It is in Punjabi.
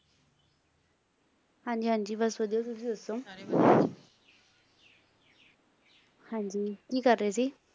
ਹਾਂਜੀ - ਹਾਂਜੀ ਬੱਸ ਵਧੀਆ ਤੁਸੀਂ ਦੱਸੋ ਹਾਂਜੀ ਕੀ ਕਰ ਰਹੇ ਸੀ?